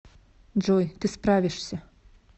джой ты справишься